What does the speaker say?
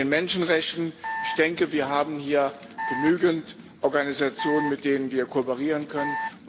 Zu den Menschenrechten Wir haben hier genügend Organisationen, mit denen wir kooperieren können.